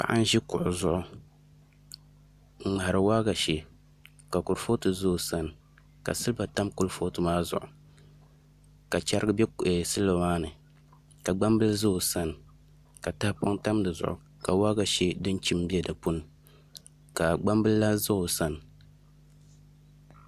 Paɣa n ʒi kuɣu zuɣu n ŋmahari waagashe ka kurifooti ʒɛ o sani ka silba tam kurifooti maa zuɣu ka chɛrigi bɛ silba maa ni ka gbambili ʒɛ o sani ka tahapoŋ tam di zuɣu ka waagashe din chim bɛ di puuni ka gbambili lahi ʒɛ o sani